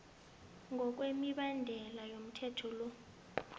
ngokwemibandela yomthetho lo